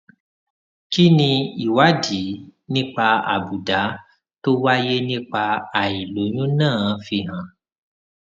kí ni ìwádìí nípa àbùdá tó wáyé nípa àìlóyún náà fi hàn